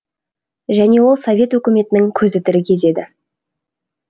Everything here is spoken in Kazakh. және ол совет өкіметінің көзі тірі кез еді